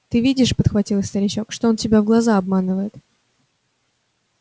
ты видишь подхватил старичок что он тебя в глаза обманывает